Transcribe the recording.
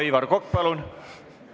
Aivar Kokk, palun!